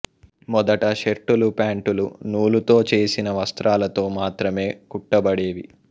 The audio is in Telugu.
మొదట షర్టులు ప్యాంటులు నూలుతో చేసిన వస్త్రాలతో మాత్రమే కుట్టబడేవి